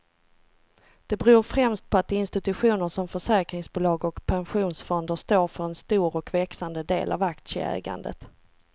Det beror främst på att institutioner som försäkringsbolag och pensionsfonder står för en stor och växande del av aktieägandet.